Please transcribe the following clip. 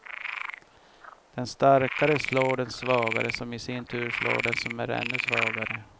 Den starkare slår den svagare som i sin tur slår den som är ännu svagare.